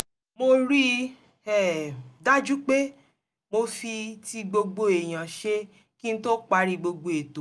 mo rí i um dájú pé mo fi ti gbogbo èèyàn ṣe kí n tó parí gbogbo ètò